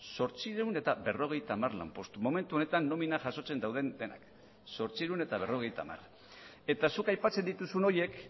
zortziehun eta berrogeita hamar lanpostu momentu honetan nomina jasotzen dauden denak zortziehun eta berrogeita hamar eta zuk aipatzen dituzun horiek